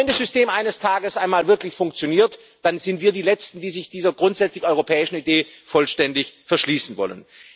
Aber wenn das System eines Tages einmal wirklich funktioniert, dann sind wir die letzten, die sich dieser grundsätzlich europäischen Idee vollständig verschließen wollen.